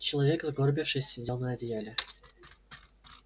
человек сгорбившись сидел на одеяле